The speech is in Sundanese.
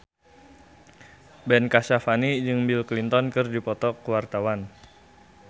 Ben Kasyafani jeung Bill Clinton keur dipoto ku wartawan